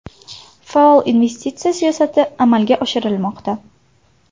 Faol investitsiya siyosati amalga oshirilmoqda.